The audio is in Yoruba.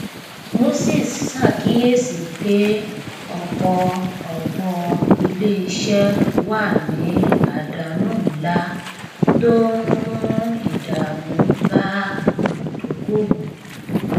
moses ṣàkíyèsí pé ọpọ ọpọ ilé iṣẹ wà ní àdánù ńlá tó ń mú ìdààmú bá olùdókòwò